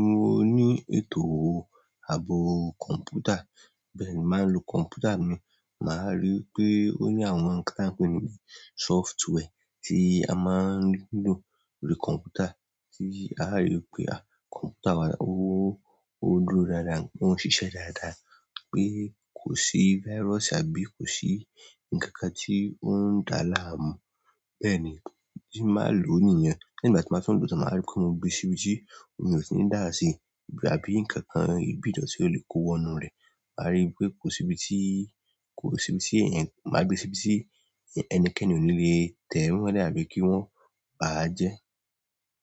mo ní ètò ààbò kọ̀ǹpútà. Bẹ́ẹ̀ ni, mo máa n lo kọ̀ǹpútà mi, màá rí wípé ó ní àwọn nǹkan tí a ń pé ní software tí a máa ń lò lórí kọ̀ǹpútà, tí a rí pé kọ̀ǹpútà wa ó. Ó dúró dáadáa, ò un ṣiṣẹ́ dáadáa pé kò sí virus àbí kò sí ǹkan kan tí ó ń dá láàmú. Bẹ́ẹ̀ ni, tí màá lò ó nìyẹn. Lẹ́yìn ìgbà tí ń bá tún lọ tán màá rí pé mo gbe sí ibi tí omi ò tí ní dáàsí àbí ǹkan kan, ibi ìdọ̀tí tí ó lè kó wọnú rẹ̀. Màá rí i pé kò síbi tí, kò sí ibi tí èèyàn, máa gbé síbi tí ẹnikẹ́ni ò ní lè tẹ̀ wíwọ́n dé àbí kí wọ́n bá a jẹ́.